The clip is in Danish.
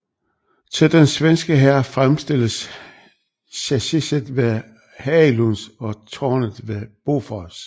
Til den svenske hær fremstilles chassiset ved Hägglunds og tårnet ved Bofors